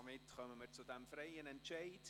Somit kommen wir zu diesem «freien Entscheid»: